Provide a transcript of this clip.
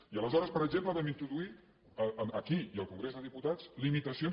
i aleshores per exemple vam introduir aquí i al congrés dels diputats limitacions